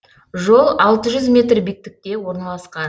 жол алты жүз метр биіктікте орналасқан